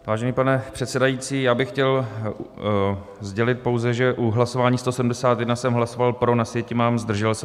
Vážený pane předsedající, já bych chtěl sdělit pouze, že u hlasování 171 jsem hlasoval pro, na sjetině mám zdržel se.